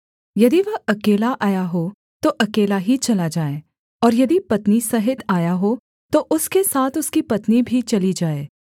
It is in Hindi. यदि वह अकेला आया हो तो अकेला ही चला जाए और यदि पत्नी सहित आया हो तो उसके साथ उसकी पत्नी भी चली जाए